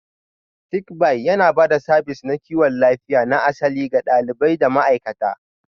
Sick Bay yana ba da sabis na kiwon lafiya na asali ga ɗalibai da ma'aikata.